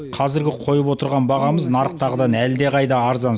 қазіргі қойып отырған бағамыз нарықтағыдан әлдеқайда арзан